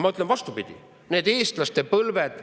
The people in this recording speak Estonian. Ma ütlen, et see on vastupidi.